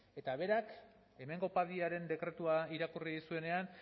eta berak hemengo padiaren dekretua irakurri zuenean